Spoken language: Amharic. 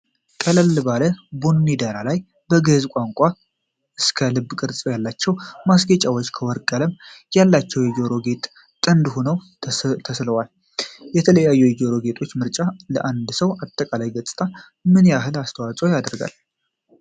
ቀለል ባለ ቡኒ ዳራ ላይ፣ ከግዙፍ ዕንቁዎች እስከ ልብ ቅርፅ ያላቸው ማስጌጫዎችና ከወርቅ ቀለም ያላቸው የጆሮ ጌጦች ጥንድ ሆነው ተሰልፈዋል። የተለያዩ የጆሮ ጌጦች ምርጫ ለአንድ ሰው አጠቃላይ ገጽታ ምን ያህል አስተዋፅኦ ያደርጋል?